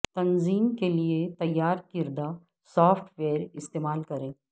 تنظیم کے لئے تیار کردہ سافٹ ویئر استعمال کریں